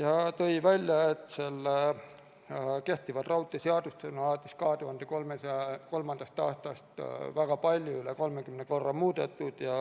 Ta tõi välja, et kehtivat raudteeseadust on alates 2003. aastast väga palju, üle 30 korra muudetud ja